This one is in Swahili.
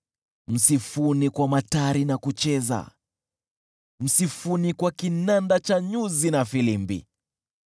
msifuni kwa matari na kucheza, msifuni kwa kinanda cha nyuzi na filimbi,